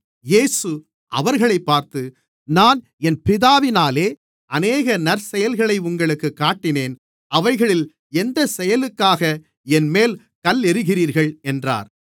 இயேசு அவர்களைப் பார்த்து நான் என் பிதாவினாலே அநேக நற்செயல்களை உங்களுக்குக் காட்டினேன் அவைகளில் எந்தச் செயலுக்காக என்மேல் கல்லெறிகிறீர்கள் என்றார்